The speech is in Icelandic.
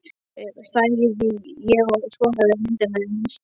sagði ég og skoðaði myndina í nistinu.